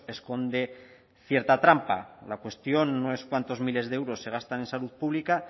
esconde cierta trampa la cuestión no es cuántos miles de euros se gastan es salud pública